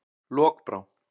Lokbrá